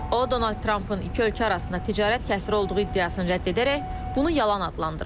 O Donald Trampın iki ölkə arasında ticarət kəsri olduğu iddiasını rədd edərək bunu yalan adlandırıb.